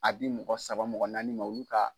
A di mɔgɔ saba mɔgɔ naani ma olu ka.